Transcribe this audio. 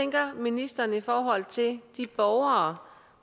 tænker ministeren i forhold til de borgere